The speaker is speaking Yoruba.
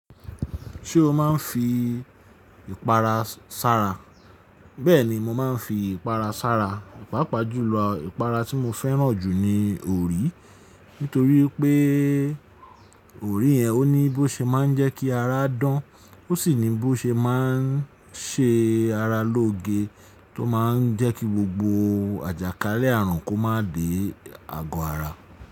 Ṣé o máa ń fi ìpara sára? Bẹ́ẹ̀ni mo máa ń fi ìpara sára. Paápaa jù lọ ìpara tí mo fẹ́ràn jù ni òrí. Nítorí pé òrí yẹ́n ó ní bó ṣe máa ń jẹ́ kí ara dán. Ó sì ní bó ṣe máa ń ṣe ara lóge, tó máa ń jẹ́ kí gbogbo àjàkálẹ̀ àrùn kó máa dé ago ara.